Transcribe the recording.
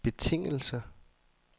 betingelse